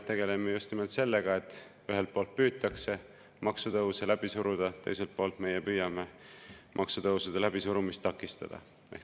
Tegeleme just nimelt sellega, et ühelt poolt püütakse maksutõuse läbi suruda, teiselt poolt meie püüame maksutõusude läbisurumist takistada.